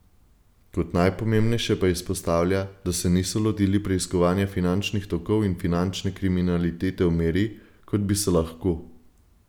Kot najpomembnejše pa izpostavlja, da se niso lotili preiskovanja finančnih tokov in finančne kriminalitete v meri, kot bi se lahko.